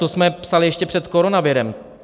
To jsme psali ještě před koronavirem.